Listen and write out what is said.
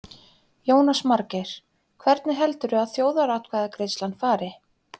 Jónas Margeir: Hvernig heldurðu að þjóðaratkvæðagreiðslan fari?